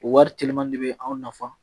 O wari telima de bɛ anw nafa